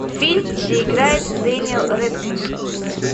фильм где играет дэниел рэдклифф